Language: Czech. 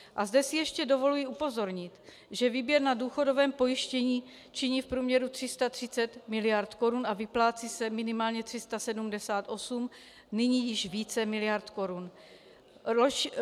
A zde si ještě dovoluji upozornit, že výběr na důchodovém pojištění činí v průměru 330 mld. korun a vyplácí se minimálně 378, nyní již více miliard korun.